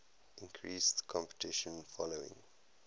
increased competition following